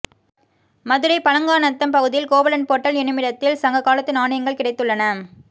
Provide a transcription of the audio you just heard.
மதுரை பழங்காநத்தம் பகுதியில் கோவலன் பொட்டல் எனுமிடத்தில் சங்க காலத்து நாணயங்கள் கிடைத்துள்ளன